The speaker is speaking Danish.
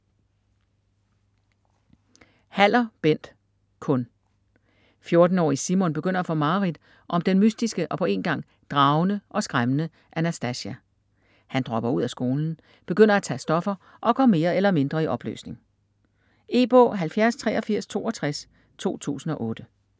Haller, Bent: Kun 14-årige Simon begynder at få mareridt om den mystiske og på en gang dragende og skræmmende Anastasia. Han dropper ud af skolen, begynder at tage stoffer og går mere eller mindre i opløsning. E-bog 708362 2008.